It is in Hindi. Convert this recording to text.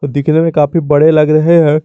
दिखने में काफी बड़े लग रहे हैं।